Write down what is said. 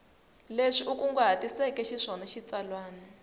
leswi u kunguhatiseke xiswona xitsalwana